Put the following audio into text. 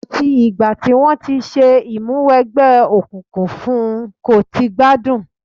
Àti ìgbà tí wọ́n ti ṣe Ìmúwẹgbẹ́ òkùnkùn fún n kò ti gbádùn